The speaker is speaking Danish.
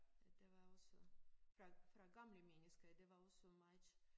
At der var også fra fra gamle mennesker der var også meget